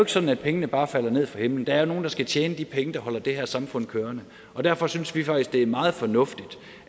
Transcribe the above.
sådan at pengene bare falder ned fra himlen der er jo nogle der skal tjene de penge der holder det her samfund kørende derfor synes vi faktisk det er meget fornuftigt